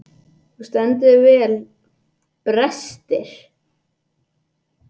Þú stendur þig vel, Brestir!